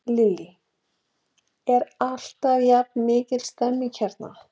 Lillý: Er alltaf jafn mikil stemning hérna?